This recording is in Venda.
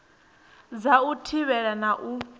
dza u thivhela na u